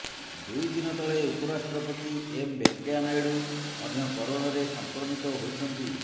ଦୁଇ ଦିନ ତଳେ ଉପରାଷ୍ଟ୍ରପତି ଏମ ଭେଙ୍କେୟା ନାଇଡୁ ମଧ୍ୟ କରୋନାରେ ସଂକ୍ରମିତ ହୋଇଛନ୍ତି